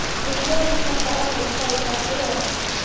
Við seigluðumst þetta áfram en gættum okkar vel.